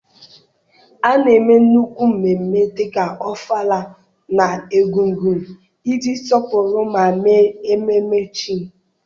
A na-eme nnukwu mmemme dịka Ọfala na Egungun iji sọpụrụ ma mee ememe chi.